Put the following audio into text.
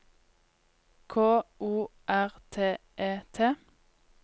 K O R T E T